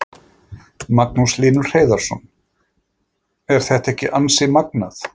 Magnús Hlynur Hreiðarsson: Er þetta ekki ansi magnað?